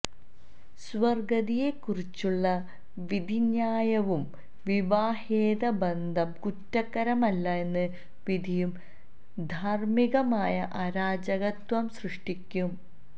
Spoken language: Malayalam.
സ്വവര്ഗരതിയെക്കുറിച്ചുള്ള വിധിന്യായവും വിവാഹേതരബന്ധം കുറ്റകരമല്ല എന്ന വിധിയും ധാര്മ്മികമായ അരാജകത്വം സൃഷ്ടിക്കും